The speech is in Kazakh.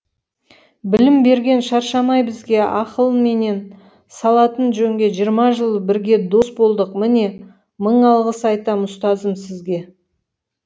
білім берген шаршамай бізге ақылменен салатын жөнге жиырма жыл бірге дос болдық міне мың алғыс айтам ұстазым сізге